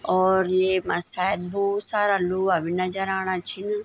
और येमा सायद भोत सारा लोहा भी नजर आणा छिंन।